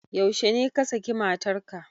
Yaushe ne ka saki matar ka?